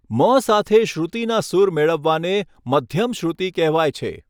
મ સાથે શ્રુતિના સૂર મેળવવાને મધ્યમશ્રુતિ કહેવાય છે.